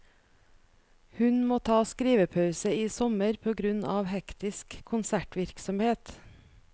Hun må ta skrivepause i sommer på grunn av hektisk konsertvirksomhet.